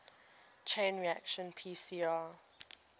chain reaction pcr